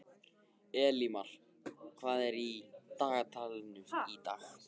Elímar, hvað er á dagatalinu í dag?